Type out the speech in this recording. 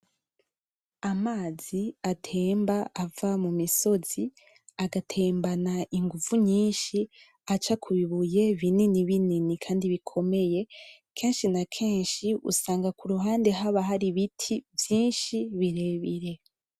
Amazi atemba ava mu misozi agatembana inguvu nyinshi aca ku bibuye binini binini kandi bikomeye, kenshi na kenshi usanga ku ruhande haba hari ibiti vyinshi birebire.